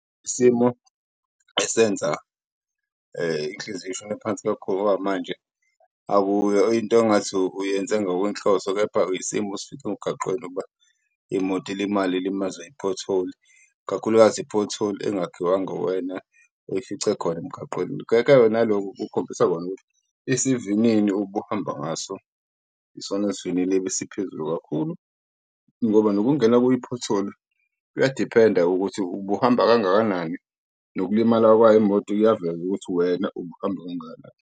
Isimo esenza inhliziyo ishone phansi kakhulu ngoba manje akuyo into engathi uyenze ngokwenhloso, kepha isimo osifice emgaqweni ukuba imoto ilimale ilimazwe iphotholi, kakhulukazi iphotholi engakhiwanga uwena oyifice khona emgaqweni. Naloko kukhombisa khona ukuthi isivinini ubuhamba ngaso isona sivinini ebesiphezulu kakhulu, ngoba nokungena kwiphotholi kuyadiphenda ukuthi ubuhamba kangakanani. Nokulimala kwayo imoto kuyaveza ukuthi wena ubuhamba kangakanani.